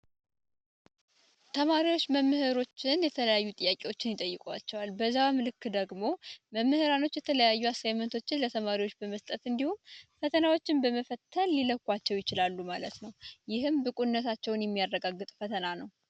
ተማሪዎች መምህሮችን የተለያዩ ጥያቄዎችን ይጠይቃቸል። በዛም ልክ ደግሞ መምህራኖች የተለያዩ አሳይቶችን ለተማሪዎች በመስጠት እንዲሁም ፈተናዎችን በመፈተል ይለኳቸው ይችላሉ ማለት ነው። ይህም ብቁነታቸውን የሚያረጋግጥ ፈተና ነው።